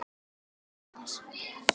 En hvað skýrir þessa fækkun?